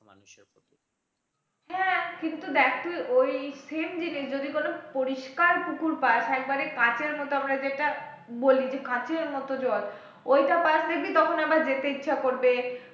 হ্যাঁ কিন্তু দেখ তুই ওই same জিনিস যদি কোন পরিষ্কার পুকুর পাস একেবারে কাঁচের মতো আমরা যেটা বলি যে কাঁচের মতো জল ওইটা পাস দেখবি তখন আবার যেতে ইচ্ছা করবে